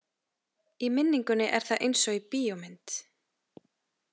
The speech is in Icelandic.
Í minningunni er það eins og í bíómynd.